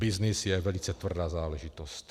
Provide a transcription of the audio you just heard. Byznys je velice tvrdá záležitost.